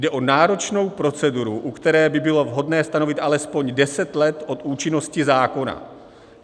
Jde o náročnou proceduru, u které by bylo vhodné stanovit alespoň deset let od účinnosti zákona.